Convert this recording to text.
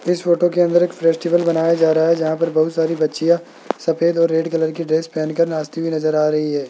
इस फोटो के अंदर एक फेस्टिवल बनाया जा रहा है जहां पर बहुत सारी बच्चियों सफेद और रेड कलर की ड्रेस पहनकर नाचती हुई नजर आ रही है।